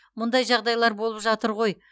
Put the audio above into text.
мұндай жағдайлар болып жатыр ғой